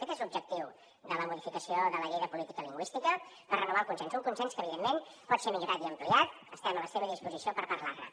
aquest és l’objectiu de la modificació de la llei de política lingüística per renovar el consens un consens que evidentment pot ser millorat i ampliat estem a la seva disposició per parlar ne